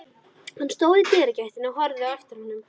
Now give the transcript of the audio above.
Hann stóð í dyragættinni og horfði á eftir honum.